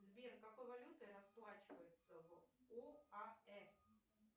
сбер какой валютой расплачиваются в оаэ